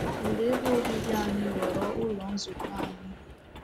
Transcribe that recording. Okpuru ebe obibi anyị ghọọrọ Ụlọ Nzukọ anyị.